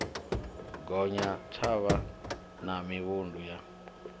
gonya thavha na mivhundu ya